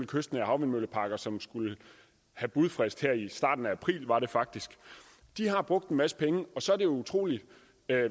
kystnære havvindmølleparker som skulle have budfrist her i starten af april var det faktisk har brugt en masse penge og så er det utrolig